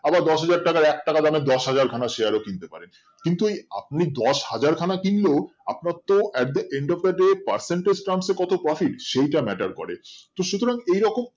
আবার দশহাজার টাকার এক টাকা দামের দশহাজার খানা Share ও কিনতে পারেন কিন্তু এই আপনি দশহাজার খানা কিনলেও আপনার তো একদম End of the day percentage terms এ কত Profit সেটা Matter করে তো সুতরাং এইরকম